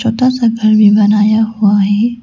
छोटा सा घर बनाया हुआ है।